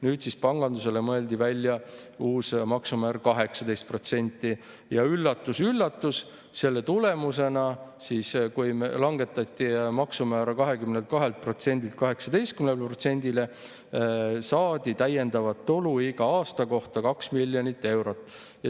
Nüüd siis pangandusele mõeldi välja uus maksumäär 18% ja üllatus-üllatus, selle tulemusena siis, kui langetati maksumäära 22%-lt 18%-le, saadi iga aasta kohta täiendavat tulu 2 miljonit eurot.